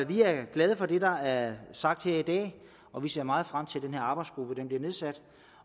vi er glade for det der er sagt her i dag og vi ser meget frem til at denne arbejdsgruppe bliver nedsat